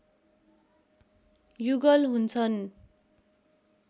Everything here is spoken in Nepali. युगल हुन्छन्